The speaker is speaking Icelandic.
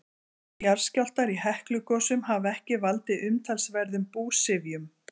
Jarðskjálftar í Heklugosum hafa ekki valdið umtalsverðum búsifjum.